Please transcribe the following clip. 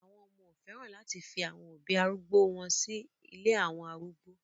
Àwọn ọmọ ò fẹ́ràn láti fi àwọn òbí arúgbó o wọn sí ilé àwọn arúgbó